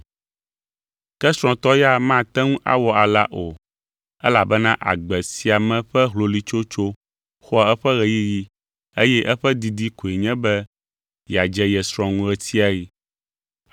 Ke srɔ̃tɔ ya mate ŋu awɔ alea o elabena agbe sia me ƒe hloloetsotso xɔa eƒe ɣeyiɣi eye eƒe didi koe nye be yeadze ye srɔ̃ ŋu ɣe sia ɣi.